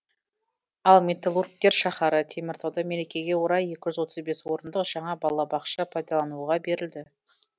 ал металлургтер шаһары теміртауда мерекеге орай екі жүз отыз бес орындық жаңа балабақша пайдалануға берілді